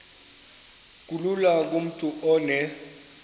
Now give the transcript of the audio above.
kulula kumntu onen